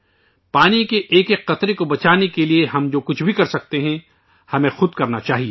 پانی کے ہر قطرے کو بچانے کے لئے ہم جو کچھ بھی کر سکتے ہیں، ہمیں وہ کرنا چاہیئے